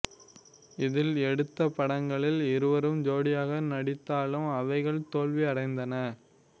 இதில் எடுத்த படங்களில் இருவரும் ஜோடியாக நடித்தாலும் அவைகள் தோல்வி அடைந்தன